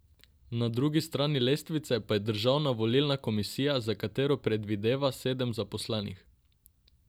Na drugi strani lestvice pa je Državna volilna komisija, za katero predvideva sedem zaposlenih.